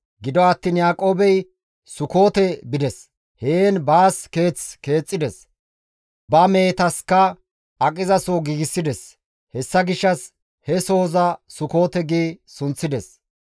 Gido attiin Yaaqoobey Sukoote bides; heen baas keeth keexxides; ba mehetaska aqizaso giigsides; hessa gishshas he sohoza Sukoote gi sunththides.